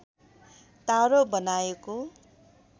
तारो बनाएको